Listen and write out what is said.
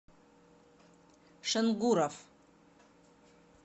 шенгуров